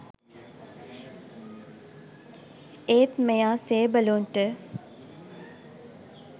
ඒත් මෙයා සේබළුන්ට